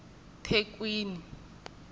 thekwini